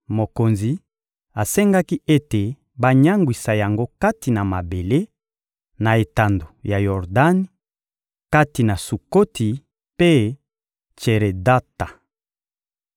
Mokonzi asengaki ete banyangwisa yango kati na mabele, na etando ya Yordani, kati na Sukoti mpe Tseredata.